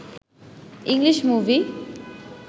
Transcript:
English movie